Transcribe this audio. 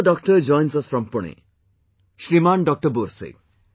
Another doctor joins us from Pune...Shriman Doctor Borse